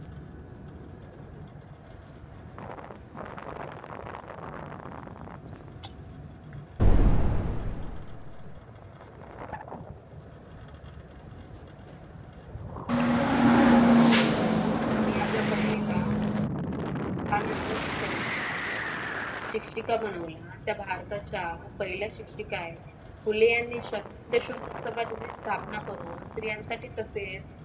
त्यांनी आपल्या पत्नीला त्यानंतर शिकवल्या शिक्षिका बनवूया त्या भारताचा पहिला शिक्षिका फुले यांनी स्थापना करून स्त्रियांसाठी तसेच.